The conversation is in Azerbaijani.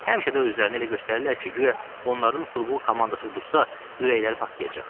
Həmişə də özlərini elə göstərirlər ki, guya onların futbol komandası uduzsa, ürəkləri partlayacaq.